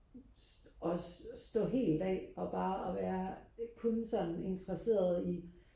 og stå helt af og bare og være kun sådan interesseret i